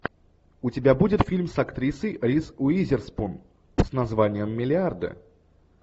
у тебя будет фильм с актрисой риз уизерспун с названием миллиарды